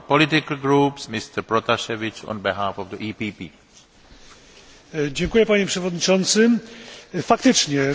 Faktycznie, sytuacja na Białorusi pogarsza się i to dosłownie z dnia na dzień, zarówno w wymiarze politycznym, jak i ekonomicznym.